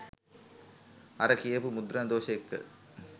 අර කියපු මුද්‍රණ දෝෂ එක්ක